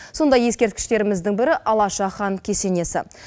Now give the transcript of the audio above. сондай ескерткіштеріміздің бірі алаша хан кесенесі